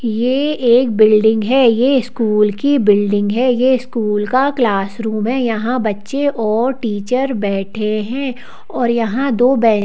यह एक बिल्डिंग है यह स्कूल की बिल्डिंग है यह स्कूल का क्लासरूम है यहाँ बच्चे और टीचर बैठे हैं और यहाँ दो बह--